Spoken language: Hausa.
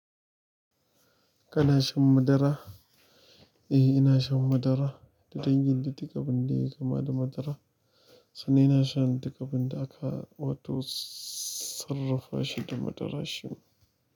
Kana shan madara? Eh, ina shan madara da dangin da duk abin da yai kama da madara. Sannan ina shan duk abin da aka wato sarrafa shi da madara shima.